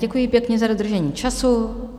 Děkuji pěkně za dodržení času.